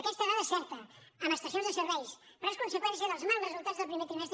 aquesta dada és certa en estacions de serveis però és conseqüència dels mals resultats del primer trimestre